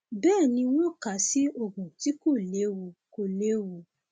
bẹẹ ni wọn kà á sí oògùn tí kò léwu kò léwu